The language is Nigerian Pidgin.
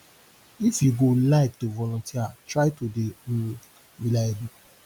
if you go like to volunteer try to dey um reliable